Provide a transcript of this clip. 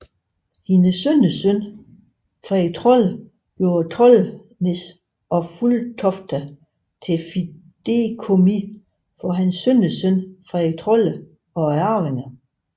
Hendes sønnesøn Fredrik Trolle gjorde Trollenäs og Fulltofta til fideikommis for hans sønnesøn Fredrik Trolle og arvinger